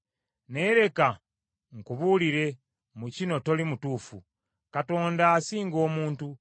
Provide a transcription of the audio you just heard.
“Naye leka nkubuulire, mu kino toli mutuufu. Katonda asinga omuntu.